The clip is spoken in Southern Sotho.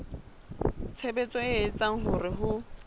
tshebetso e etsang hore ho